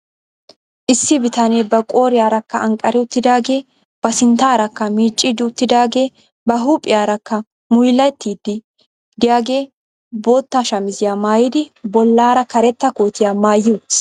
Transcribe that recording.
Issi bitanee ba qooriyaarakka anqari uttidaagee ba sinttaarakka miicciiddi uttidaagee ba huuphiyaarakka muyilatiiddi diyagee bootta shamiziya maayidi bollaara karetta kootiya maayi uttis.